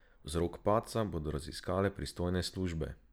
Vzrok padca bodo raziskale pristojne službe.